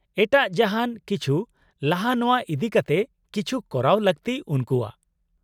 -ᱮᱴᱟᱜ ᱡᱟᱦᱟᱱ ᱠᱤᱪᱷᱩ ᱞᱟᱦᱟ ᱱᱚᱶᱟ ᱤᱫᱤᱠᱟᱛᱮ ᱠᱤᱪᱷᱩ ᱠᱚᱨᱟᱣ ᱞᱟᱹᱠᱛᱤ ᱩᱱᱠᱩᱣᱟᱜ ᱾